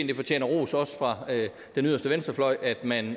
det fortjener ros også fra den yderste venstrefløj at man